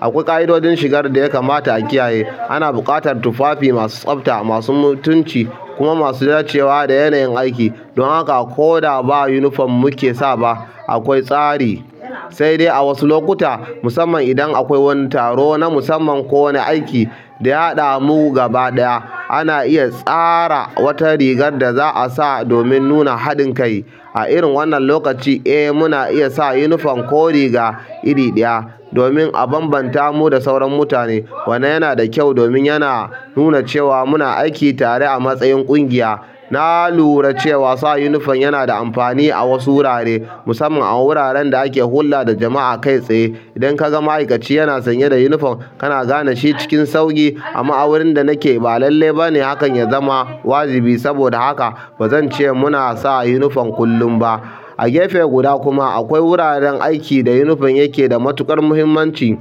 akwai ka'idodin shiga da dai ya kamata a kiyaye. Ana buƙatar tufafi masu tsafta, masu mutunci kuma masu dacewa da yanayin aiki. Don haka ko da ba unifom muke sa ba, akwai tsari. Sai dai a wasu lokuta, musamman idan akwai wani taro na musamman ko wani aiki da ya haɗamu gaba ɗaya, ana iya tsara wata rigar da za a sa domin nuna haɗin kai. A irin wannan lokaci, eh, muna iya sa unifom ko riga iri ɗaya domin a bambanta mu da sauran mutane. Wannan yana da kyau domin yana nuna cewa muna aiki tare a matsayin ƙungiya. Na lura cewa sa unifom yana da amfani a wasu wurare, musamman a wuraren da ake hulɗa da jama'a kai tsaye. Idan ka ga ma'aikaci yana sanye da yunifom, kana gane shi cikin sauƙi. Amma a wurin da nake ba lallai ba ne hakan ya zama wajibi. Saboda haka ba zan ce muna sa yunifom kullum ba. A gefe guda kuma, akwai wuraren aiki da yunifom yake da matuƙar muhimmanci,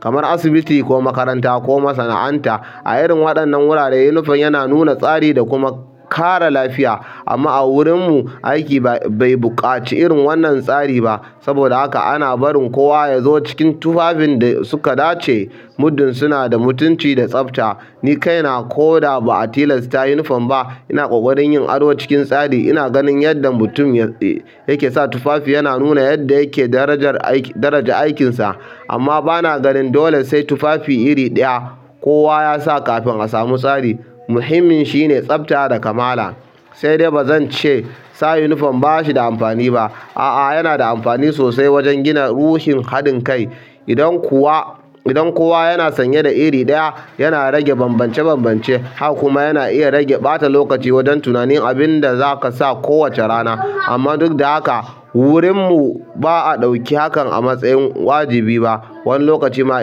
kamar asibiti ko makaranta ko masana'anta. A irin waɗannan wurare, yunifom yana nuna tsari da kuma kare lafiya. Amma a wurinmu aiki bai buƙaci irin wannan tsari ba. Saboda haka ana barin kowa ya zo cikin tufafin da suka dace, muddin suna da mutunci da tsafta. Ni kaina ko da ba'a tilasta uniform ba ina ƙoƙarin yin ado cikin tsari ina ganin yadda mutum yake sa tufafi yana nuna yadda yake darajar aiki, daraja aikin sa. Amma ba na ganin dole sai tufafi iri ɗaya kowa ya sa kafin a samu tsari. Muhimmin shine tsafta da kamala. Sai dai ba zan ce sa unifom ba shi da amfani ba. A'a, yana da amfani sosai wajen gina ruhin haɗin kai. Idan kowa, idan kowa yana sanye da iri ɗaya, yana rage bambance-bambance. Haka kuma yana iya rage ɓata lokaci wajen tunanin abin da za ka sa kowace rana. Amma duk da haka, wurinmu ba a ɗauki hakan a matsayin wajibi ba. Wani lokaci ma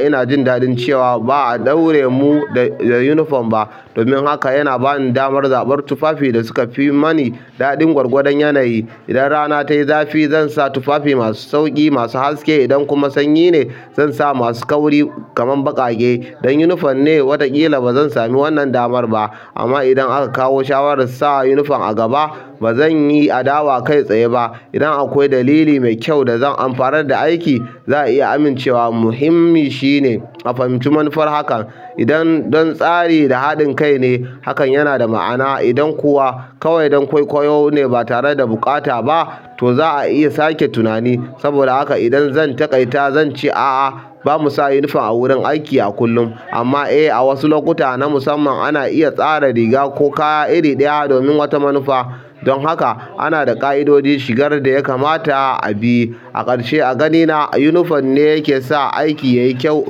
ina jin daɗin cewa ba'a ɗaure mu da uniform ba domin hakan yana bani damar zaɓar tufafin da suka fi mani daɗi gwargwadon yanayi idan rana tayi zafi, zan sa tufafi masu sauƙi masu haske. Idan kuma sanyi ne, zan sa masu kauri kamar baƙaƙe. Dan unifom ne, wataƙila ba zan sami wannan ɗamar ba. Amma idan aka kawo shawarar sa yunifom a gaba, ba zan yi adawa kai tsaye ba. Idan akwai dalili mai kyau da zan amfanar da aiki, za a iya amincewa. Muhimmi shine a fahimci manufar hakan. Idan don tsari da haɗin kai ne, hakan yana da ma'ana. Idan kuwa kawai don kwaikwayo ne ba tare da buƙata ba, to za a iya sake tunani. Saboda haka idan zan taƙaita, zan ce a'a, ba mu sa unifom a wurin aiki a kullum. Amma eh, a wasu lokuta na musamman ana iya tsara riga ko kaya iri ɗaya domin wata manufa. Don haka ana da ƙa'idodin shigar da ya kamata a bi. A ƙarshe, a ganina ba yunifom ne yake sa aiki yayi kyau,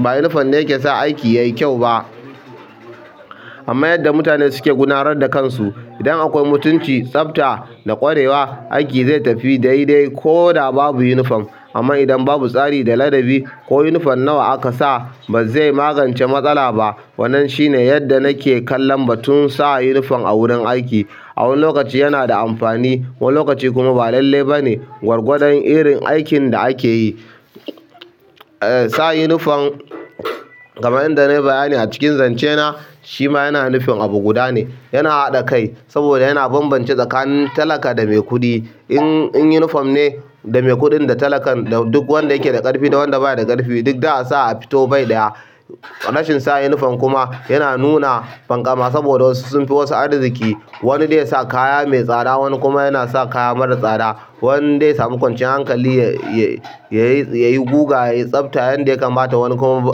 ba yunifom ne yake sa aiki yayi kyau ba. Amma yadda mutane suke gudanar da kansu. Idan akwai mutunci, tsafta da ƙwarewa, aiki zai tafi daidai ko da babu yunifom. Amma idan babu tsari da ladabi, ko yunifom nawa aka sa, ba zai magance matsala ba. Wannan shine yadda nake kallon batun sa yunifom a wurin aiki. A wani lokaci yana da amfani, wani lokaci kuma ba lallai ba ne, gwargwadon irin aikin da ake yi. Sa'an uniform kamar yadda ne bayani a cikin zance na shima yana nufin abu guda ne yana haɗa kai saboda yana bambance tsakanin talaka da mai kuɗi. In, in unifom ne, da mai kuɗin da talakan da duk wanda yake da ƙarfi da wanda baya da ƙarfi, duk za a sa a fito bai ɗaya. Rashin sa unifom kuma yana nuna fankama saboda wasu sun fi wasu arziki. Wani zai ya sa kaya mai tsada, wani kuma yana sa kaya mara tsada. Wani zai samu kwanciyar hankali yayi, yayi guga, yayi tsafta yanda ya kamata. Wani kuma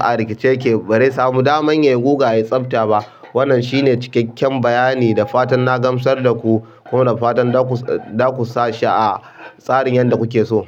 a rikice yake, bazai sami daman yayi guga, yayi tsafta ba. Wannan shine cikakken bayani da fatan na gamsar da ku. Kuma da fatan za ku, za ku sa shi a tsarin yadda kuke so.